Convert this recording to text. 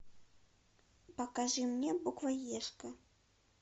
покажи мне буквоежка